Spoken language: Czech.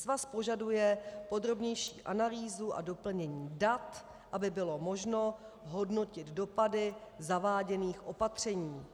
Svaz požaduje podrobnější analýzu a doplnění dat, aby bylo možné hodnotit dopady zaváděných opatření.